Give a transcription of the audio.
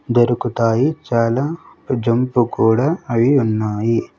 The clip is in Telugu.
దొరుకుతాయి చాలా జంపు కూడా అయి ఉన్నాయి.